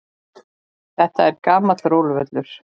Þetta er gamall róluvöllur.